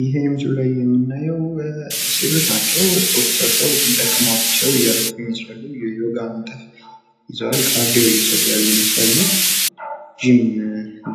ይሄ ምስሉ ላይ የምናየው ሴቶች ናቸው ፤ ስፖርት ሰርተው ደክሟቸው እያረፉ ይመስላሉ ፤ የዮጋ እንትን ይዘዋል፣ ካርዲዎ እየሰሩ ያሉ ይመስላሉ ፣ ጅም